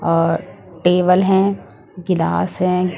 और टेबल हैं गिलास हैं ।